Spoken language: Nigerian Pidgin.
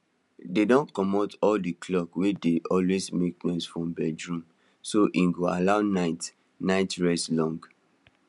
dey don commot all the clocks wey dey always make noise from bedroom so e go allow night night rest long